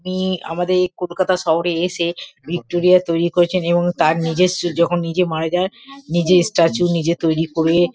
তিনি আমাদের এই কলকাতা শহরে এসে ভিক্টরিয়া তৈরী করেছেন এবং তার নিজস্ব যখন নিজে মারা যায় নিজের স্টাচু নিজে তৈরী করে --